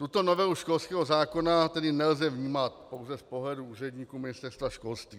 Tuto novelu školského zákona tedy nelze vnímat pouze z pohledu úředníků Ministerstva školství.